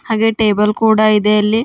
ಹಾಗೆ ಟೇಬಲ್ ಕೂಡ ಇದೆ ಅಲ್ಲಿ.